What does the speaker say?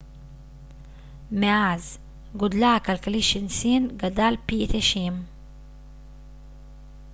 מאז גודלה הכלכלי של סין גדל פי 90